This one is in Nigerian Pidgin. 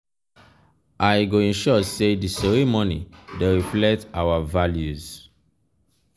i go ensure say di ceremony dey reflect our values.